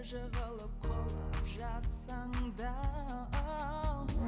жығылып құлап жатсаң да